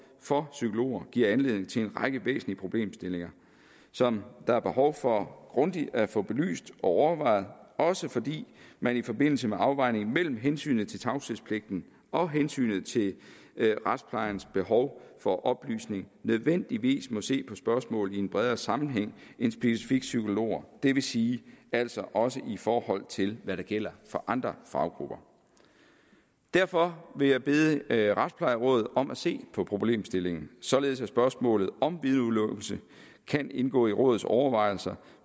for psykologer giver anledning til en række væsentlige problemstillinger som der er behov for grundigt at få belyst og overvejet også fordi man i forbindelse med afvejningen mellem hensynet til tavshedspligten og hensynet til retsplejens behov for oplysning nødvendigvis må se på spørgsmålet i en bredere sammenhæng end specifikt psykologer det vil sige altså også i forhold til hvad der gælder for andre faggrupper derfor vil jeg bede retsplejerådet om at se på problemstillingen således at spørgsmålet om vidneudelukkelse kan indgå i rådets overvejelser